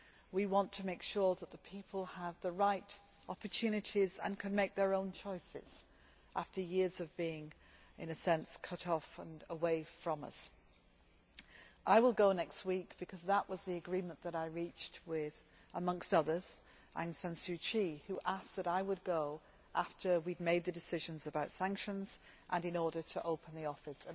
We want to make sure that the people have the right opportunities and can make their own choices after years of being cut off and apart from us. I will go next week, because that was the agreement that I reached with amongst others Aung San Suu Kyi, who asked me to go after we had made the decisions about sanctions and in order to open the office.